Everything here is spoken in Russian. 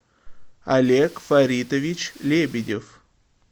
олег фаритович лебедев